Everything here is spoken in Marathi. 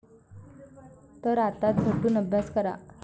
तर आता झटून अभ्यास करा.